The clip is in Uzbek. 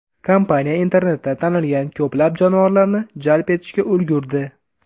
Kompaniya internetda tanilgan ko‘plab jonivorlarni jalb etishga ulgurdi.